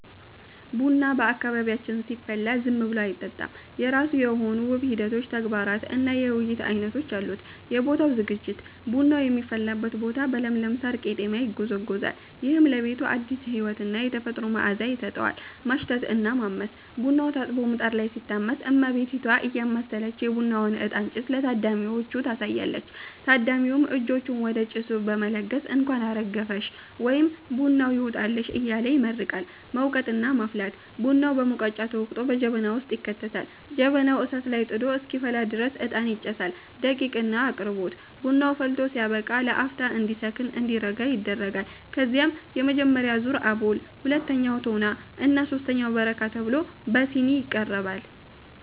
ቡና በአካባቢያችን ሲፈላ ዝም ብሎ አይጠጣም፤ የራሱ የሆኑ ውብ ሂደቶች፣ ተግባራት እና የውይይት ዓይነቶች አሉት። የቦታው ዝግጅት፦ ቡናው የሚፈላበት ቦታ በለምለም ሳር (ቀጤማ) ይጎዘጎዛል። ይህም ለቤቱ አዲስ ሕይወትና የተፈጥሮ መዓዛ ይሰጠዋል። ማሽተት እና ማመስ፦ ቡናው ታጥቦ ምጣድ ላይ ሲታመስ፣ እመቤቲቷ እያማሰለች የቡናውን እጣን (ጭስ) ለታዳሚዎቹ ታሳያለች። ታዳሚውም እጆቹን ወደ ጭሱ በመለገስ "እንኳን አረገፈሽ" ወይም "ቡናው ይውጣላችሁ" እያለ ይመርቃል። መውቀጥ እና መፍላት፦ ቡናው በሙቀጫ ተወቅጦ በጀበና ውስጥ ይከተታል። ጀበናው እሳት ላይ ጥዶ እስኪፈላ ድረስ እጣን ይጨሳል። ደቂቅ እና አቅርቦት፦ ቡናው ፈልቶ ሲያበቃ ለአፍታ እንዲከን (እንዲረጋ) ይደረጋል። ከዚያም የመጀመሪያው ዙር (አቦል)፣ ሁለተኛው (ቶና) እና ሦስተኛው (በረካ) ተብሎ በሲኒ ይቀርባል።